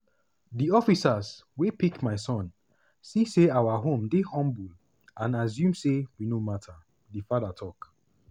di officers wey pick my son see say our home dey humble and assume say we no matter" di father tok.